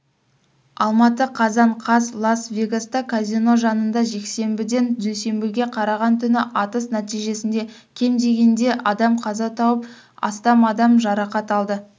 алматы қазан қаз лас-вегаста казино жанында жексенбіден дүйсенбіге қараған түнгі атыс нәтижесінде кем дегенде адам қаза тауып астам адам жарақат алды